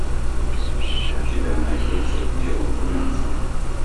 у тебя найдется дело румянцева